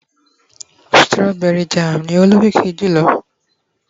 strawberry jam ni o lokiki jùlọ